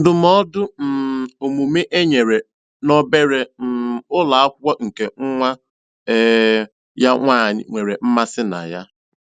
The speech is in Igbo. Ndụmọdụ um omume e nyere n'obere um ụlọ akwụkwọ nke nwa um ya nwaanyị nwere mmasị na ya.